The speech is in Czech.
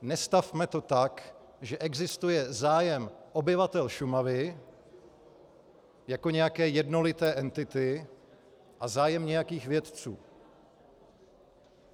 Nestavme to tak, že existuje zájem obyvatel Šumavy jako nějaké jednolité entity a zájem nějakých vědců.